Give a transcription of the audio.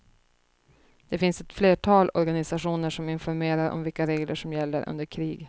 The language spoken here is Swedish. Det finns ett flertal organisationer som informerar om vilka regler som gäller under krig.